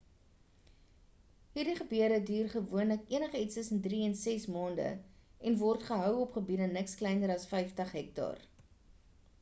hierdie gebeure duur gewoonlik enige iets tussen drie en ses maande en word gehou op gebiede niks kleiner as 50 hektaar